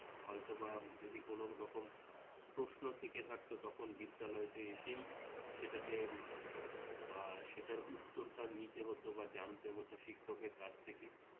হয়তোবা যদি কোনোরকম প্রশ্ন থেকে থাকতো তখন বিদ্যালয়তে এসেই সেটাকে বা সেটার উত্তরটা নিতে হত বা জানতে হত শিক্ষকের কাছ থেকে